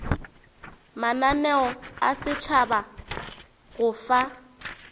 mananeo a setšhaba go fa